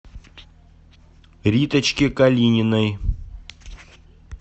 риточке калининой